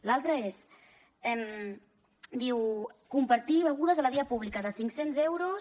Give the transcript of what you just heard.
l’altre és diu compartir begudes a la via pública de cinc cents euros